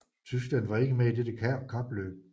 Tyskland var ikke med i dette kapløb